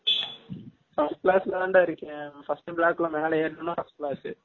first class ல தான் டா இருகேன் first block ல மேல எர்னா first class